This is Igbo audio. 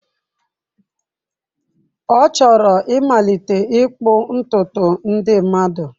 Ọ chọrọ ịmalite ịkpụ ntutu ndị mmadụ.